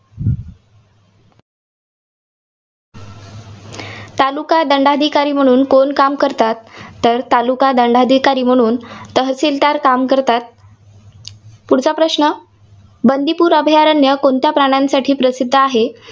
तालुका दंडाधिकारी म्हणून कोण काम करतात? तर तालुका दंडाधिकारी म्हणून तहसिलदार काम करतात. पुढचा प्रश्न. बंदीपूर अभयारण्य कोणत्या प्राण्यांसाठी प्रसिद्ध आहे?